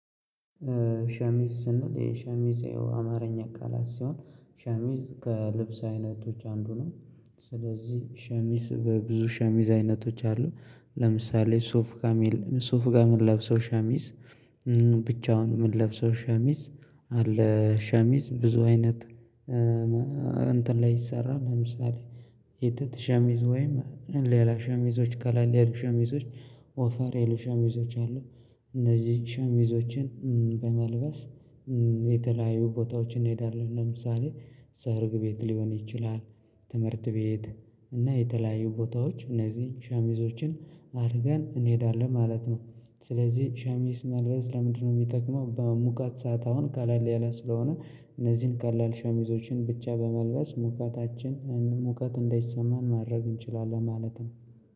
ሸሚዝ ስንል የሸሚዝ አማርኛ ቃላት ሲሆን ሸሚዝ ከልብስ አይነቶች አንዱ ነው። ስለዚህ ሸሚዝ በብዙ ሸሚዝ አይነቶች አሉ። ለምሳሌ ሱፍ ጋ ሱፍ ጋር ምን ለብሰው ሸሚዝ ብቻውን ምን ለብሰው ሸሚዝ አለ ሸሚዝ ብዙ አይነት እንትን ላይ ይሰራል ለምሳሌ የጥጥ ሸሚዝ ወይም ሌላ ሸሚዞች ቀለል ሌላ ሸሚዞች ወፈር ሌላ ሸሚዞች አሉ እነዚህ ሸሚዞችን በመልበስ የተለያዩ ቦታዎችን እንሄዳለን ለምሳሌ ሰርግ ቤት ሊሆን ይችላል፣ ትምህርት ቤት እና የተለያዩ ቦታዎች እነዚህን ሻሚዞችን አድርገን እንሄዳለን ማለት ነው። ስለዚህ ሸሚዝ መልረስ ለምንድነው የሚጠቅመው በሙቃት ሰዓት አሁን ቀለል ያለ ስለሆነ እነዚህን ቀላል ሸሚዞችን ብቻ በመልበስ ሙቀታችን ሙቀት እንዳይሰማን ማድረግ እንችላለን ማለት ነው።